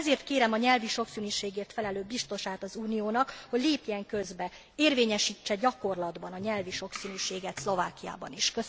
Ezért kérem a nyelvi sokszínűségért felelős biztosát az Uniónak, hogy lépjen közbe, érvényesítse gyakorlatban a nyelvi sokszínűséget Szlovákiában is.